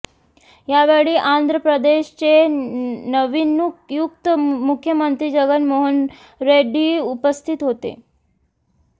यावेळी आंध्र प्रदेशचे नवनियुक्त मुख्यमंत्री जगन मोहन रेड्डी उपस्थित होते